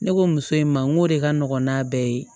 Ne ko muso in ma n ko o de ka nɔgɔn n'a bɛɛ ye